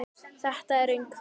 Þetta er röng frétt.